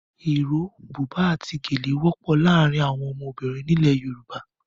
Iro, buba àti gèlè wọ́pọ̀ láàárín àwọn ọmọbìnrin ilẹ̀ Yorùbá.